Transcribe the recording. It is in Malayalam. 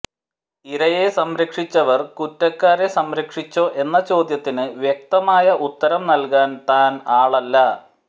ഇരയെ സംരക്ഷിച്ചവർ കുറ്റക്കാരെ സംരക്ഷിച്ചോ എന്ന ചോദ്യത്തിന് വ്യക്തമായ ഉത്തരം നല്കാൻ താൻ ആളല്ല